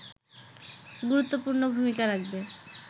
গুরুত্বপূর্ণ ভূমিকা রাখবে